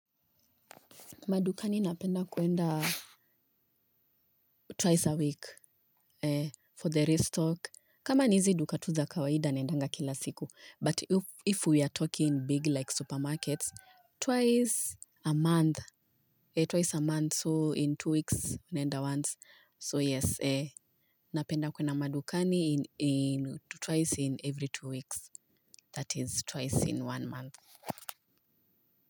Madukani napenda kwenda twice a week for the restock. Kama ni hizi duka tu za kawaida naendanga kila siku. But if we are talking big like supermarkets, twice a month. Twice a month, so in two weeks, naenda once. So yes eeh, napenda kwenda madukani twice in every two weeks. That is twice in one month.